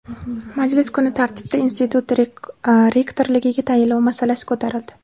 Majlis kun tartibida institut rektorligiga tayinlov masalasi ko‘tarildi.